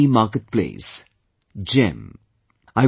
Government EMarketplace GEM